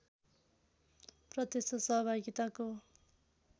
प्रत्यक्ष सहभागिताको